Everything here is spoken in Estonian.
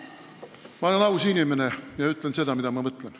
Ma olen aus inimene ja ütlen seda, mida ma mõtlen.